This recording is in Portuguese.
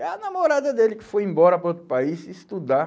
É a namorada dele que foi embora para outro país estudar.